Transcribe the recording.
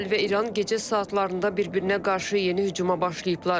İsrail və İran gecə saatlarında bir-birinə qarşı yeni hücuma başlayıblar.